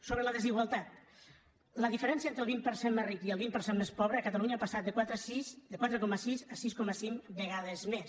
sobre la desigualtat la diferència entre el vint per cent més ric i el vint per cent més pobre a catalunya ha passat de quatre coma sis a sis coma cinc vegades més